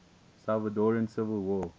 salvadoran civil war